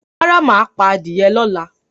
Rárá, mà á pa á die lọ́la.